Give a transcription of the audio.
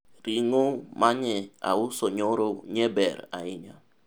ring'o manye auso nyoro nye ber ahinya